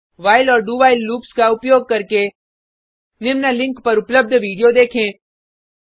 while औऱ do while loops का उपयोग करके निम्न लिंक पर उपलब्ध वीडियो देखें